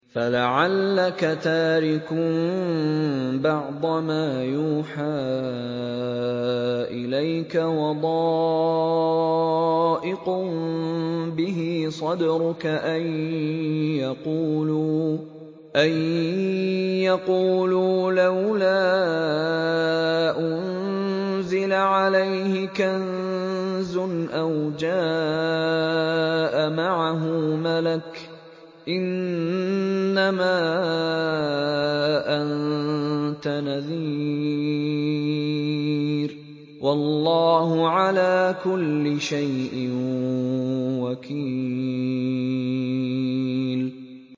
فَلَعَلَّكَ تَارِكٌ بَعْضَ مَا يُوحَىٰ إِلَيْكَ وَضَائِقٌ بِهِ صَدْرُكَ أَن يَقُولُوا لَوْلَا أُنزِلَ عَلَيْهِ كَنزٌ أَوْ جَاءَ مَعَهُ مَلَكٌ ۚ إِنَّمَا أَنتَ نَذِيرٌ ۚ وَاللَّهُ عَلَىٰ كُلِّ شَيْءٍ وَكِيلٌ